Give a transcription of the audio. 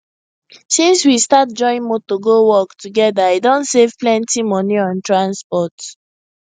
since we start join motor go work together i don save plenty money on transport